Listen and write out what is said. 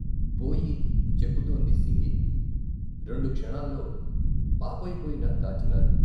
పోయి చెక్కుతోంది సింగి, రెండు క్షణాల్లో పాపయిపోయిన దాచినారు.